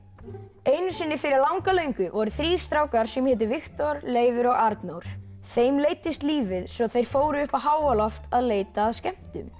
einu sinni fyrir langa löngu voru þrír strákar sem hétu Viktor Leifur og Arnór þeim leiddist lífið svo þeir fóru upp á háaloft að leita að skemmtun